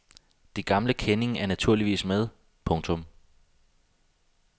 De gamle kendinge er naturligvis med. punktum